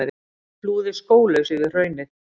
Flúði skólaus yfir hraunið